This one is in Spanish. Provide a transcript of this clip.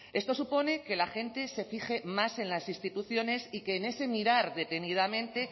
esto supone que la gente se fije más en las instituciones y que en ese mirar detenidamente